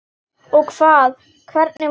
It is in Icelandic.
Og hvað, hvernig var?